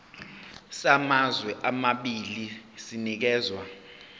samazwe amabili sinikezwa